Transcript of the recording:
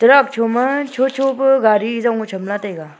truck chu ma cho cho pe gari hong lah cham la taiga.